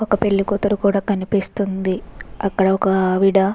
ఒక పెళ్లి కూతురు కూడా కనిపిస్తుంది. అక్కడ ఒక ఆవిడ --